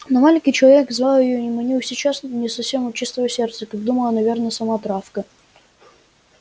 но маленький человек звал её и манил сейчас не совсем от чистого сердца как думала наверно сама травка